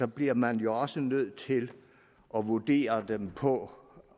bliver man jo også nødt til at vurdere dem på